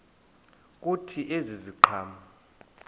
kuthi ezi ziqhamo